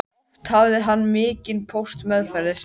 Oft hafði hann mikinn póst meðferðis.